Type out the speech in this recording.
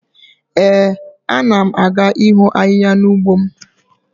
Ee, a na m aga iho ahihia n'ugbo m